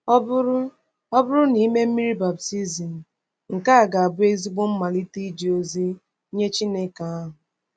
Ọ bụrụ Ọ bụrụ na i mee mmiri baptizim, nke a ga-abụ ezigbo mmalite n’ije ozi nye ezi Chineke ahụ.